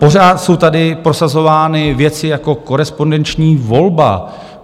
Pořád jsou tady prosazovány věci jako korespondenční volba.